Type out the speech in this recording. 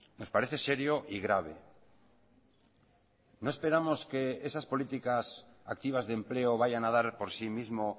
nos parece serio y grave no esperamos que esas políticas activas de empleo vayan a dar por si mismo